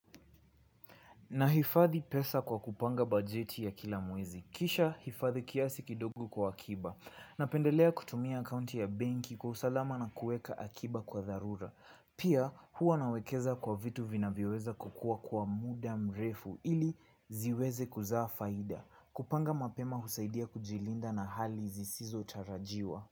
Nahifadhi pesa kwa kupanga bajeti ya kila mwezi. Kisha hifadhi kiasi kidogo kwa akiba. Napendelea kutumia akaunti ya benki kwa usalama na kueka akiba kwa dharura. Pia huwa nawekeza kwa vitu vinavyoweza kukua kwa muda mrefu ili ziweze kuzaa faida. Kupanga mapema husaidia kujilinda na hali zisizo tarajiwa.